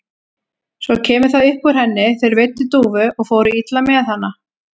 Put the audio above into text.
Svo kemur það upp úr henni: Þeir veiddu dúfu og fóru illa með hana.